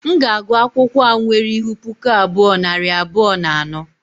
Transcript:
M ga-agụ akwụkwọ a nwere ihu puku abụọ, nari abụọ na anọ